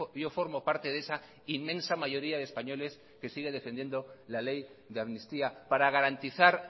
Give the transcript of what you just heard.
yo formo parte de esa inmensa mayoría de españoles que sigue defendiendo la ley de amnistía para garantizar